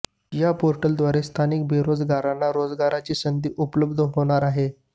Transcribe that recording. या पोर्टलद्वारे स्थानिक बेरोजगारांना रोजगाराची संधी उपलब्ध होणार आहे